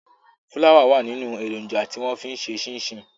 Fúláwà wà nínú èròǹjà tí wọ́n fi ń ṣe ṣínṣìn.